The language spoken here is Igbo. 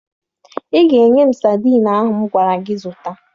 Ị ga-enye m sadiin ahụ m gwara gị zụta